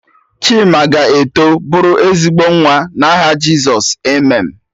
Chima ga-eto bụrụ ezigbo nwa, na aha Jizọs, Amen.